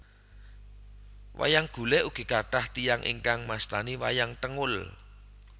Wayang Golèk ugi kathah tiyang ingkang mastani wayang tengul